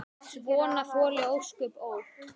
Svona þoli ósköp, ó!